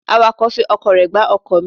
Awàkọ̀ fi ọkọ̀ rẹ gbá ọkọ̀ mi.